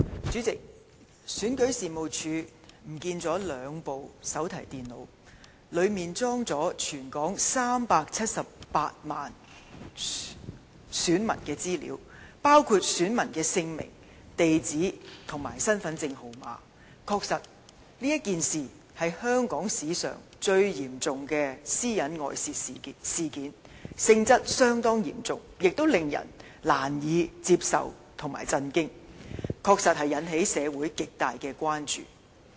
主席，選舉事務處遺失兩部手提電腦，當中載有全港378萬名選民資料，包括姓名、地址和身份證號碼，確是全港史上最嚴重的私隱外泄事件，性質相當嚴重，亦令人難以接受，感到震驚，確實引起社會極大關注。